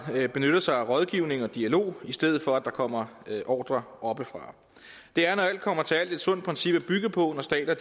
benytter sig af rådgivning og dialog i stedet for at der kommer ordrer oppefra det er når alt kommer til alt et sundt princip at bygge på når stater